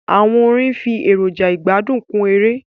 Àwọn orin nfi èrọja igbadun kun èrè.